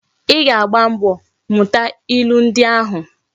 I ga-agba mbo muta ilu ndi ahu!